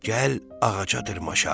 Gəl ağaca dırmaşaq.